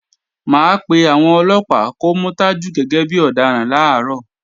Mà á pé àwọn Ọlọ́pàá kó mú Tajú gẹ́gẹ́ bí ọ̀daràn làárọ̀